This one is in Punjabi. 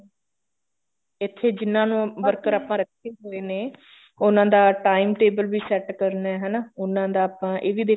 ਇੱਥੇ ਜਿੰਨਾ ਨੂੰ worker ਆਪਾਂ ਰੱਖੇ ਹੋਏ ਨੇ ਉਹਨਾਂ ਦਾ time table ਵੀ set ਕਰਨਾ ਹਨਾ ਉਹਨਾ ਦਾ ਆਪਾਂ ਇਹ ਵੀ ਦੇਖਣਾ